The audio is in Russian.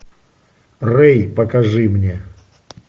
рэй покажи мне